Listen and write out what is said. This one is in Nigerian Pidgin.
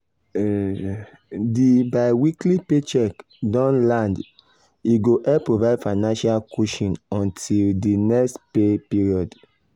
di biweekly paycheck don land e go help provide financial cushion until di next pay period